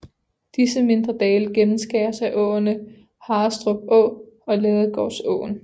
Disse mindre dale gennemskæres af åerne Harrestrup Å og Ladegårdsåen